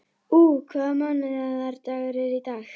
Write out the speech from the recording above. Úa, hvaða mánaðardagur er í dag?